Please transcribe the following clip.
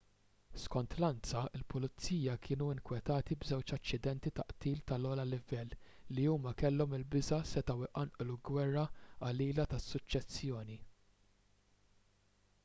skont l-ansa il-pulizija kienu nkwetati b'żewġ aċċidenti ta' qtil tal-ogħla livell li huma kellhom il-biża' setgħu jqanqlu gwerra qalila tas-suċċessjoni